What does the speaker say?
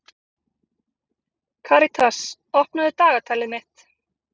Karitas, opnaðu dagatalið mitt.